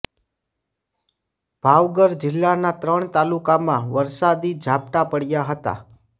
ભાવગર જિલ્લાના ત્રણ તાલુકામાં વરસાદી ઝાપટાં પડ્યાં હતાં